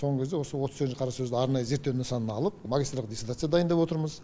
соңғы кезде осы отыз сегізінші қара сөзді арнайы зерттеу нысанына алып магистрлық дисертация дайындап отырмыз